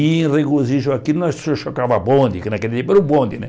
E, em regojizo àquilo, nós cho chocava a bonde, que naquele tempo era o bonde, né?